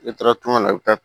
N'i taara tunga na i bɛ taa